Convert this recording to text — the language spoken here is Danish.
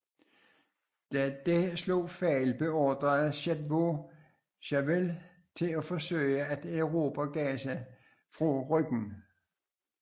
Da dette slog fejl beordrede Chetwode Chauvel til at forsøge at erobre Gaza fra ryggen